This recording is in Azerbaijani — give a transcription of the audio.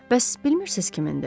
Bəs bilmirsiz kimindir?